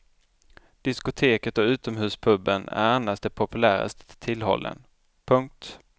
Diskoteket och utomhuspuben är annars de populäraste tillhållen. punkt